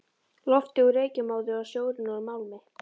Loftið úr reykjarmóðu og sjórinn úr málmi.